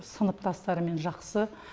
сыныптастарымен жақсы